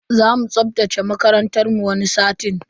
Zamu tsaftace makarantar mu wani satin.